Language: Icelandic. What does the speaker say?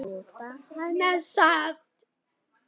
Nota hana samt.